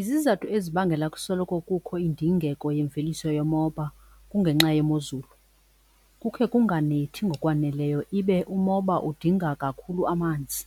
Izizathu ezibangela kusoloko kukho indingeko yemveliso yomoba kungenxa yemozulu. Kukhe kunganethi ngokwaneleyo ibe umoba udinga kakhulu amanzi